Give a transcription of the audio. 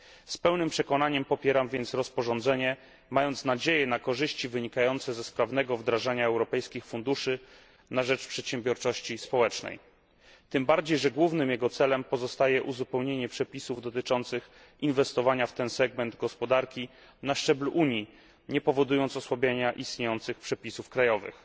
Z pełnym przekonaniem popieram więc rozporządzenie, mając nadzieję na korzyści wynikające ze sprawnego wdrażania europejskich funduszy na rzecz przedsiębiorczości społecznej, tym bardziej że głównym jego celem pozostaje uzupełnienie przepisów dotyczących inwestowania w ten segment gospodarki na szczeblu Unii, nie powodując osłabienia istniejących przepisów krajowych.